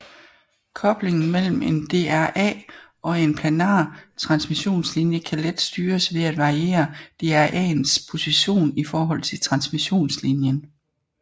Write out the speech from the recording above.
Koblingen mellem en DRA og en planar transmissionslinje kan let styres ved at variere DRAens position i forhold til transmissionslinjen